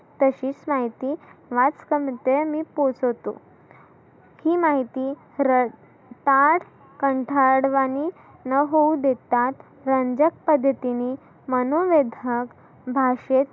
तशीच माहिती वाचकामध्ये मी पोहचवतो. ही माहिती र पाच कंठाड वाणी न होऊ देता रंजक पद्धतीनी मनु वेधक भाषेत